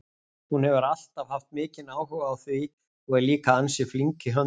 Hún hefur alltaf haft mikinn áhuga á því og er líka ansi flink í höndunum.